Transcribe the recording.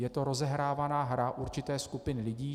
Je to rozehrávaná hra určité skupiny lidí.